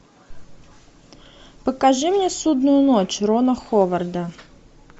покажи мне судную ночь рона ховарда